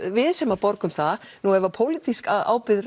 við sem borgum það nú ef pólitísk ábyrgð